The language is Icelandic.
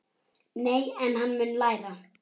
Nei, en hann mun læra.